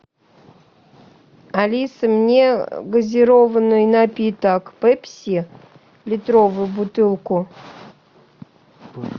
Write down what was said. алиса мне газированный напиток пепси литровую бутылку